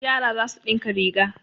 Yara za su ɗinka riga.